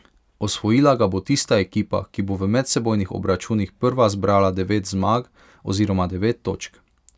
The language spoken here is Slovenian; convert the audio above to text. Osvojila ga bo tista ekipa, ki bo v medsebojnih obračunih prva zbrala devet zmag oziroma devet točk.